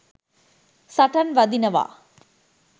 සටන් වදිනවා.